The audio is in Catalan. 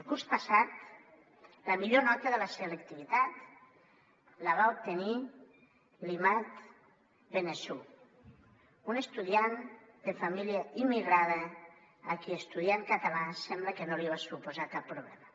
el curs passat la millor nota de la selectivitat la va obtenir l’imad benhessou un estudiant de família immigrada a qui estudiar en català sembla que no li va suposar cap problema